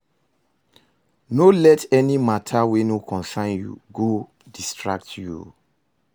No let any mata wey no concern yu go distract yu o